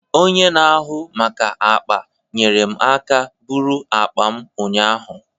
Onye n'ahụ maka akpa nyere m aka bụrụ akpa m ụnyaahụ